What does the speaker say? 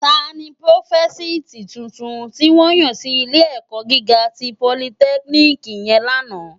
Tàní prófósìtí túntún tiwòn yán si ilé èkò gigá ti pólìtèkínikì yèn làná?